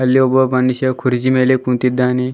ಅಲ್ಲಿ ಒಬ್ಬ ಮನುಷ್ಯ ಕುರ್ಚಿ ಮೇಲೆ ಕುಂತಿದ್ದಾನೆ.